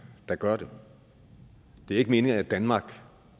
der gør det det er ikke meningen at danmark